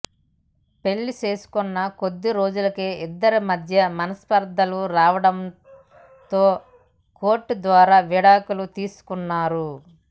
పెళ్లి చేసుకున్న కొద్దీ రోజులకే ఇద్దరి మధ్య మనస్పర్థలు రావడం తో కోర్ట్ ద్వారా విడాకులు తీసుకున్నారు